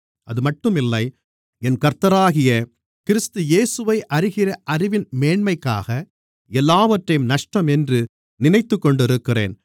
அதுமட்டும் இல்லை என் கர்த்தராகிய கிறிஸ்து இயேசுவை அறிகிற அறிவின் மேன்மைக்காக எல்லாவற்றையும் நஷ்டம் என்று நினைத்துக்கொண்டிருக்கிறேன்